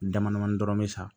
Dama damani dɔrɔn bɛ sa